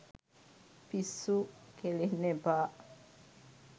පිස්සු කෙලින්න එපා.